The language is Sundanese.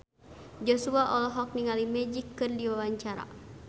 Joshua olohok ningali Magic keur diwawancara